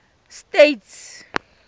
states